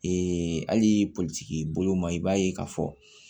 hali politigi bolo ma i b'a ye k'a fɔ